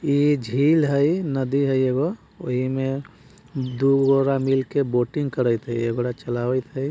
ए झील हई नदी है एगो एहिमे दोगो मिलके बोटिंग करैत एगो चलावत हई।